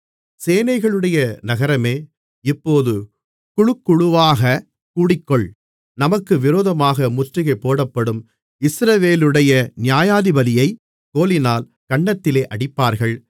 சேனைகளையுடைய நகரமே இப்போது குழுக்குழுவாகக் கூடிக்கொள் நமக்கு விரோதமாக முற்றுகை போடப்படும் இஸ்ரவேலுடைய நியாயாதிபதியைக் கோலினால் கன்னத்திலே அடிப்பார்கள்